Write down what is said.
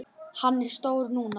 Hann er stór núna.